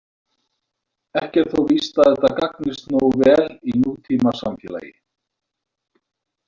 Ekki er þó víst að þetta gagnist nógu vel í nútímasamfélagi.